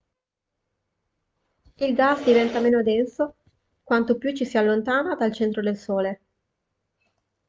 il gas diventa meno denso quanto più ci si allontana dal centro del sole